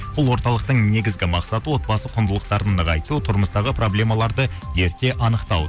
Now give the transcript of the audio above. бұл орталықтың негізгі мақсаты отбасы құндылықтарын нығайту тұрмыстағы проблемаларады ерте анықтау